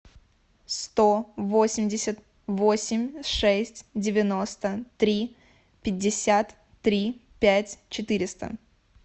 сто восемьдесят восемь шесть девяносто три пятьдесят три пять четыреста